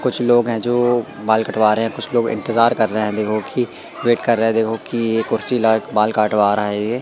कुछ लोग हैं जो बाल कटवा रहे हैं कुछ लोग इंतजार कर रहे हैं देखो की वेट कर रहे देखो कि ये कुर्सी लगाकर बाल कटवा आ रहा ये--